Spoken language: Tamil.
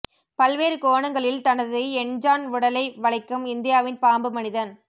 பல்வேறு கோணங்களில் தனது எண்ஜான் உடலை வளைக்கும் இந்தியாவின் பாம்பு மனிதன்